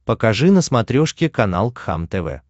покажи на смотрешке канал кхлм тв